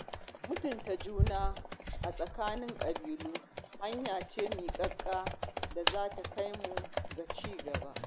Mutunta juna a tsakanin ƙabilu hanya ce miƙaƙiya da za ta kai mu ga ci gaba.